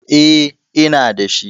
Eh, ina da shi.